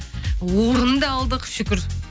орын да алдық шүкір